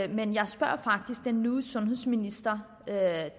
men jeg spurgte faktisk den nye sundhedsminister da